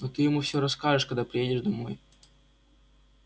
но ты ему всё расскажешь когда придёшь домой